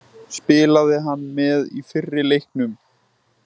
Spilaði hann með í fyrri leiknum?